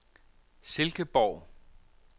Silkeborg